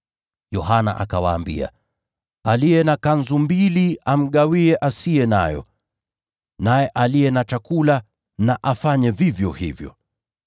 Yohana akawaambia, “Aliye na kanzu mbili amgawie asiye nayo, naye aliye na chakula na afanye vivyo hivyo.”